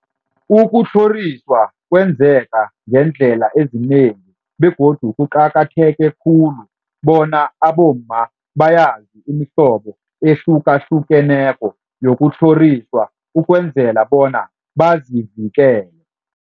Ukutlhoriswa kwenzeka ngeendlela ezinengi begodu kuqakatheke khulu bona abomma bayazi imihlobo ehlukahlukeneko yokutlhoriswa ukwenzela bona bazivikele.